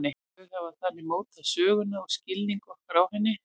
Þau hafa þannig mótað söguna og skilning okkar á henni.